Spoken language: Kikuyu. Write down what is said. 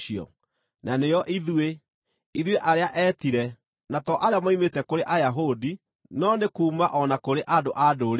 na nĩo ithuĩ, ithuĩ arĩa eetire, na to arĩa moimĩte kũrĩ Ayahudi, no nĩ kuuma o na kũrĩ andũ-a-Ndũrĩrĩ?